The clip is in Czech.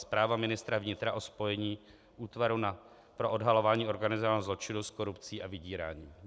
Zpráva ministra vnitra o spojení Útvaru pro odhalování organizovaného zločinu s korupcí a vydíráním.